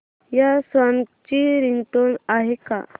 या सॉन्ग ची रिंगटोन आहे का